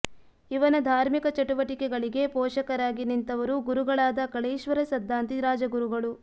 ಇವನ ಧಾರ್ಮಿಕ ಚಟುವಟಿಕೆಗಳಿಗೆ ಪೋಷಕರಾಗಿ ನಿಂತವರು ಗುರುಗಳಾದ ಕಳೇಶ್ವರ ಸದ್ದಾಂತಿ ರಾಜಗುರುಗಳು